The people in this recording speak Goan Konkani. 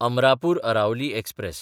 अमरापूर अरावली एक्सप्रॅस